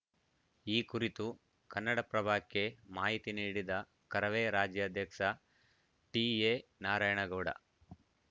ಈ ಕುರಿತು ಕನ್ನಡಪ್ರಭಕ್ಕೆ ಮಾಹಿತಿ ನೀಡಿದ ಕರವೇ ರಾಜ್ಯಾಧ್ಯಕ್ಷ ಟಿಎನಾರಾಯಣಗೌಡ